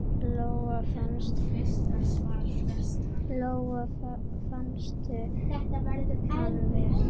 Lóa: Fannstu hann vel?